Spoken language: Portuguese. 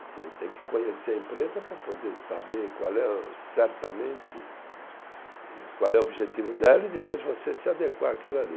Você tem que conhecer a empresa para poder saber qual é, certamente eh qual é o objetivo dela e depois você se adequar àquilo ali.